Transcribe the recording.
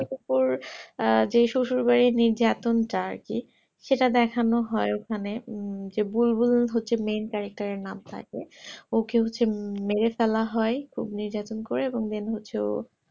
তারপর যে আহ যেই শশুর বাড়ি নিজের আতংকচাই আরকি সেটা দেখানো হয় ওখানে হম যে বুলবুল হচ্ছে main character এর নাম থাকে ওকে হচ্ছে মেরে ফেলা হয় খুব নির্যাতন করে এবং main হচ্ছে ও